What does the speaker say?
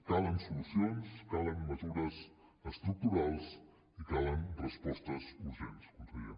calen solucions calen mesures estructurals i calen respostes urgents conseller